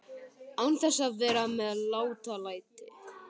Án þess að vera með látalæti.